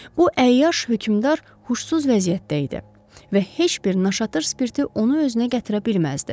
Bu əyyaş hökümdar huşsuz vəziyyətdə idi və heç bir naşatır spirti onu özünə gətirə bilməzdi.